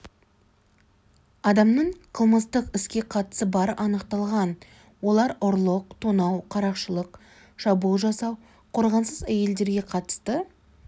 адамның қылмыстық іске қатысы бары анықталған олар ұрлық тонау қарақшылық шабуыл жасау қорғансыз әйелдерге қатысты